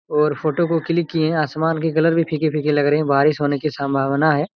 और फोटो को क्लिक किए हैं आसमान के कलर भी फीके-फीके लग रहे हैं बारिश होने की सम्भावना हैं।